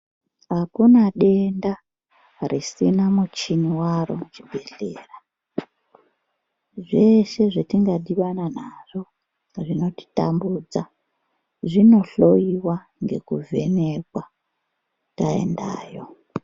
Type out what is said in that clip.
Akuna denda risina muchini waro kuchibhedhlera zveshe zvatingadhibana nazvo zvinotitambudza zvinohloyiwa ngekuvhenekwa taendayo.